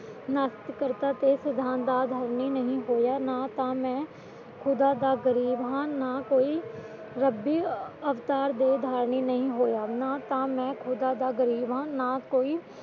ਨਾਸਤਿਕ ਕਰਤਾ ਤੇ ਸਿਧਾਂਤ ਦਾ ਅਧਰਮੀ ਨਹੀਂ ਹੋਇਆ ਨਾ ਤਾ ਮੈਂ ਖੁਦਾ ਦਾ ਗਰੀਬ ਹਾਂ ਨਾ ਕੋਈ ਰੱਬੀ ਅਵਤਾਰ ਦਾ ਧਾਰਨੀ ਨਹੀਂ ਹੋਇਆ ਨਾ ਤਾਂ ਮੈਂ ਖੁਦਾ ਦਾ ਗਰੀਬ ਹਾਂ